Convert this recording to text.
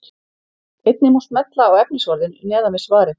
Einnig má smella á efnisorðin neðan við svarið.